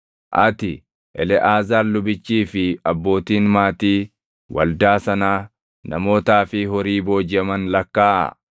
“Ati, Eleʼaazaar lubichii fi abbootiin maatii waldaa sanaa namootaa fi horii boojiʼaman lakkaaʼaa.